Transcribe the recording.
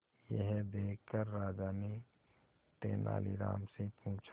यह देखकर राजा ने तेनालीराम से पूछा